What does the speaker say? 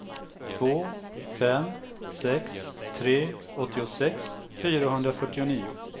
två fem sex tre åttiosex fyrahundrafyrtionio